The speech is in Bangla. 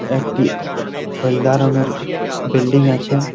একটি হলদা রং এর বিল্ডিং আছে।